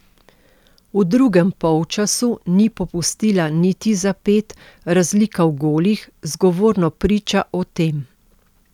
V drugem polčasu ni popustila niti za ped, razlika v golih zgovorno priča o tem.